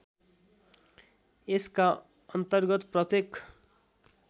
यसका अन्तर्गत प्रत्येक